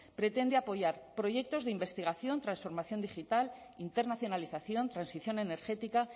pretende apoyar proyectos de investigación transformación digital internacionalización transición energética